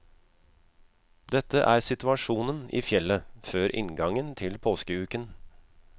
Dette er situasjonen i fjellet før inngangen til påskeuken.